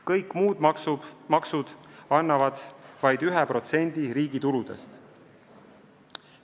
Kõik muud maksud annavad vaid 1% riigi tuludest.